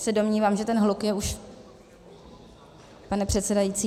se domnívám, že ten hluk je už - pane předsedající?